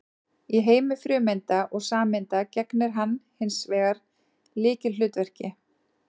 Í heimi frumeinda og sameinda gegnir hann hins vegar lykilhlutverki.